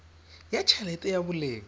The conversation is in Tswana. ya t helete ya boleng